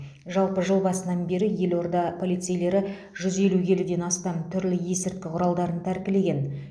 жалпы жыл басынан бері елорда полицейлері жүз елу келіден астам түрлі есірткі құралдарын тәркілеген